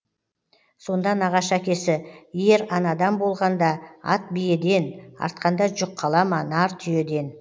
сонда нағашы әкесі ер анадан болғанда ат биеден артқанда жүк қала ма нар түйеден